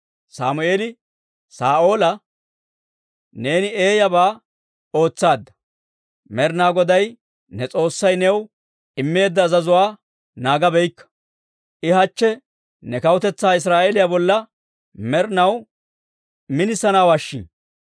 Sammeeli Saa'oola, «Neeni eeyabaa ootsaadda; Med'inaa goday ne S'oossay new immeedda azazuwaa naagabaakka. I hachche ne kawutetsaa Israa'eeliyaa bolla med'inaw minisanawaashin.